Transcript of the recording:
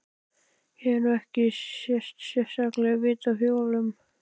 Ég hef nú ekkert sérstakt vit á hjólum.